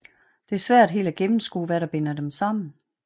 Det er svært helt at gennemskue hvad der binder dem sammen